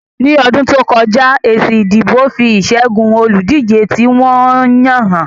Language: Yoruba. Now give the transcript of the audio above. Ní ọdún tó kọjá, èsì ìdìbò fi ìṣẹ́gun olùdíje tí wọ́n yàn hàn